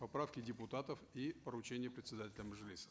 поправки депутатов и поручения председателя мажилиса